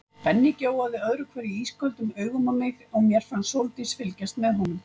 Benni gjóaði öðru hverju ísköldum augum á mig og mér fannst Sóldís fylgjast með honum.